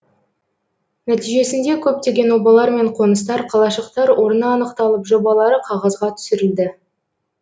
нәтижесінде көптеген обалар мен қоныстар қалашықтар орны анықталып жобалары қағазға түсірілді